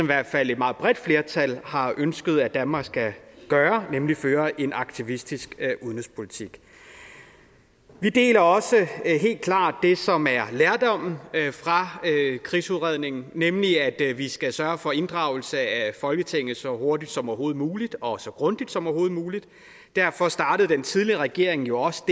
hvert fald et meget bredt flertal har ønsket at danmark skal gøre nemlig føre en aktivistisk udenrigspolitik vi deler også helt klart det som er lærdommen fra krigsudredningen nemlig at vi skal sørge for inddragelse af folketinget så hurtigt som overhovedet muligt og så grundigt som overhovedet muligt derfor startede den tidligere regering jo også